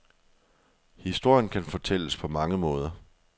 Historien kan fortælles på mange måder.